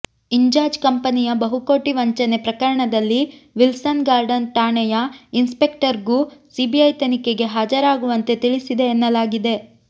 ಇಂಜಾಜ್ ಕಂಪನಿಯ ಬಹುಕೋಟಿ ವಂಚನೆ ಪ್ರಕರಣದಲ್ಲಿ ವಿಲ್ಸನ್ ಗಾರ್ಡನ್ ಠಾಣೆಯ ಇನ್ಸ್ಪೆಕ್ಟರ್ಗೂ ಸಿಬಿಐ ತನಿಖೆಗೆ ಹಾಜರಾಗುವಂತೆ ತಿಳಿಸಿದೆ ಎನ್ನಲಾಗಿದೆ